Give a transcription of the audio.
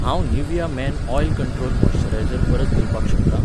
हांव Nivea men oil control moisturiser परत दिवपाक शकतां?